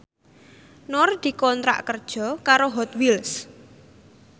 Nur dikontrak kerja karo Hot Wheels